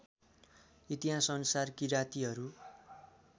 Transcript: इतिहास अनुसार किरातीहरू